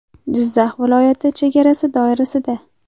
Jizzax viloyati chegarasi doirasida.